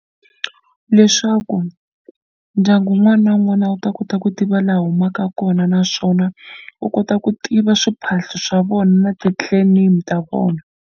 Leswaku ndyangu wun'wana na wun'wana wu ta kota ku tiva laha wu humaka kona naswona wu kota ku tiva swiphahlo swa vona na ti-clan name ta vona.